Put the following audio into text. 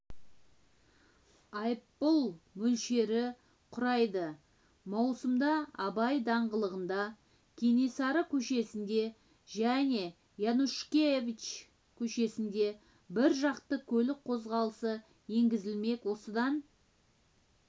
айыппұл мөлшері құрайды маусымда абай даңғылында кенесары көшесінде және янушкевич көшесінде біржақты көлік қозғалысы енгізілмек осыдан